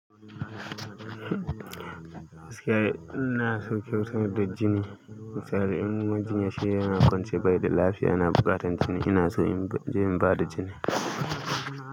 Ina sauƙin sayad da jini. Misali in jini ya sha yana kwance bai da lafiya, yana buƙatan jini. Ina so in je in ba da jini.